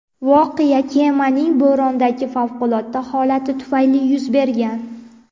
Voqea kemaning bo‘rondagi favqulodda holati tufayli yuz bergan.